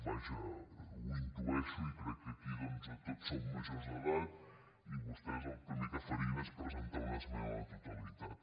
vaja ho intueixo i crec que aquí tots som majors d’edat i vostès el primer que farien seria presentar·hi una esmena a la totalitat